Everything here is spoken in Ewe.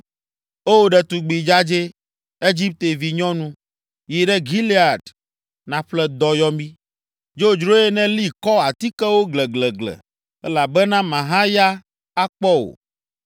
“O, ɖetugbi dzadzɛ, Egipte vinyɔnu, yi ɖe Gilead nàƒle dɔyɔmi. Dzodzroe nèli kɔ atikewo gleglegle, elabena màhaya akpɔ o.